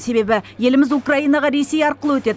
себебі еліміз украинаға ресей арқылы өтеді